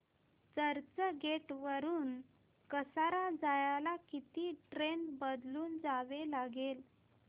चर्चगेट वरून कसारा जायला किती ट्रेन बदलून जावे लागेल